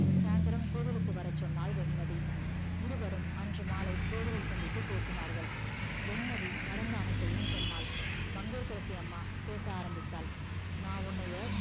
சாந்திரம் கொவிலுக்கு வர சொன்னால் வெண்மதி இருவரும் அன்று மாலை கோவிலில் சந்தித்து பேசினார்கள் வெண்மதி நடந்த அனைத்தும் சொன்னால் மங்கையகரசி அம்மாள் பேச ஆரம்பித்தால் நா உன்னைய